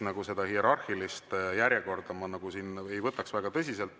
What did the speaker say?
Seda hierarhilist järjekorda ma ei võtaks väga tõsiselt.